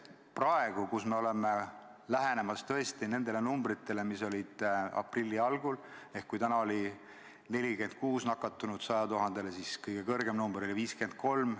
Praegu oleme lähenemas nendele numbritele, mis olid aprilli algul, ehk kui täna oli 46 nakatunut 100 000 kohta, siis kõige kõrgem number on olnud 53.